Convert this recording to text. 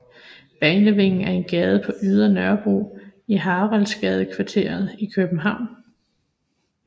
Banevingen er en gade på Ydre Nørrebro i Haraldsgadekvarteret i København